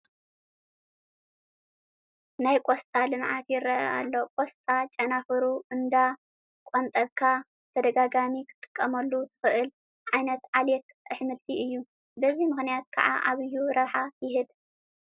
ናይ ቆስጣ ልምዓት ይርአ ኣሎ፡፡ ቆስጣ ጨናፍሩ እንዳቐንጠብካ ብተደጋጋሚ ክትጥቀመሉ ትኽእል ዓይነት ዓሌት ኣሕምልቲ እዩ፡፡ በዚ ምኽንያት ከዓ ዓብዪ ረብሓ ይህብ፡፡